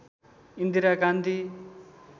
Indira Gandhi